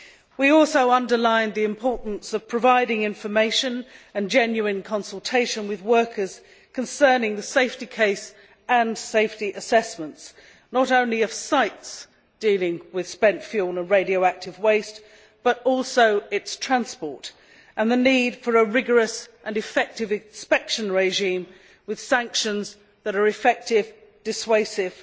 We also underlined the importance of providing information and genuine consultation with workers concerning the safety case and safety assessments, not only of sites dealing with spent fuel and radioactive waste, but also as regards how these should be transported, and the need for a rigorous and effective inspection regime with sanctions that are effective, dissuasive